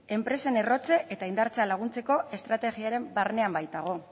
enpresen errotze eta indartzea laguntzeko estrategiaren barnean baitago